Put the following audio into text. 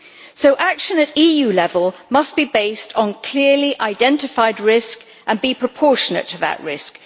So action at EU level must be based on clearly identified risk and must be proportionate to that risk.